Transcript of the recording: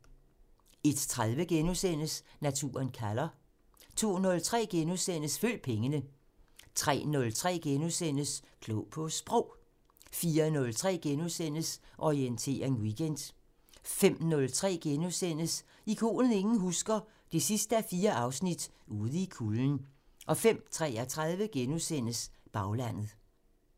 01:30: Naturen kalder * 02:03: Følg pengene * 03:03: Klog på Sprog * 04:03: Orientering Weekend * 05:03: Ikonet ingen husker – 4:4 Ude i kulden * 05:33: Baglandet *